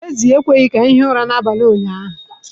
Ezi ekweghị ka anyị hie ụra n’abalị ụnyahụ